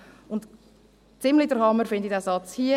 Und ziemlich den Hammer finde ich diesen Satz hier: